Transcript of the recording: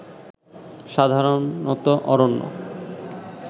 সাধারণত অরণ্য